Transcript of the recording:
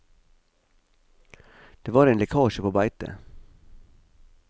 Det var en lekkasje på beitet.